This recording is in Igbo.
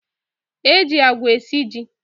E ji agwa esi ji.